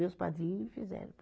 Meus padrinhos fizeram para mim.